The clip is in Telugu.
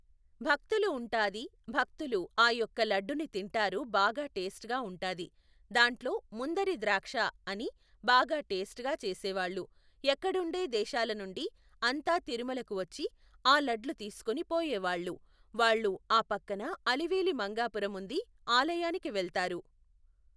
భక్తులు ఉంటాది భక్తులు ఆ యొక్క లడ్డుని తింటారు బాగా టేస్ట్గా ఉంటాది, దాంట్లో ముందరి ద్రాక్షఅని బాగా టేస్ట్గా చేసేవాళ్ళు. ఎక్కడుండే దేశాల నుండి అంతా తిరుమలకి వచ్చి ఆ లడ్లు తీసుకొని పోయేవాళ్ళు. వాళ్ళు ఆ పక్కన అలివేలి మంగాపురం ఉంది, ఆలయానికి వెళ్తారు.